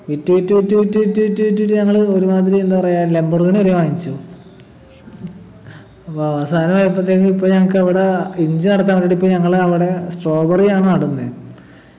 വിറ്റ് വിറ്റ് വിറ്റ് വിറ്റ് വിറ്റ് വിറ്റ് വിറ്റിട്ട് ഞങ്ങള് ഒരുമാതിരി എന്താ പറയാ ലംബോർഗിനി വരെ വാങ്ങിച്ചു ഇപ്പൊ അവസാനയാപ്പോത്തേക്കും ഇപ്പൊ ഞങ്ങക്കവിടാ ഇഞ്ചി നടത്താൻ വേണ്ടീട്ട് ഇപ്പൊ ഞങ്ങള അവിടെ strawberry യാണ് നടുന്നെ